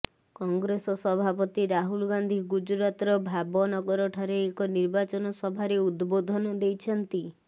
କଂଗ୍ରେସ ସଭାପତି ରାହୁଲ୍ ଗାନ୍ଧି ଗୁଜରାତ୍ର ଭାବନଗରଠାରେ ଏକ ନିର୍ବାଚନ ସଭାରେ ଉଦ୍ବୋଧନ ଦେଇଛନ୍ତି